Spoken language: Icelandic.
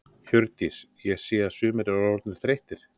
Hjördís: Ég sé að sumir eru orðnir þreyttir?